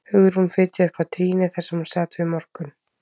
Hugrún fitjaði upp á trýnið þar sem hún sat við morgun